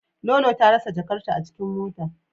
Lolo ta rasa jakarta a cikin mota.